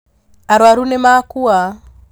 Arwaru nĩ makua